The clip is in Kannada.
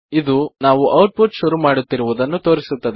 ಇದು ನಾವು ಔಟ್ ಪುಟ್ ಶುರು ಮಾಡುತ್ತಿರುವುದನ್ನು ತೋರಿಸುತ್ತದೆ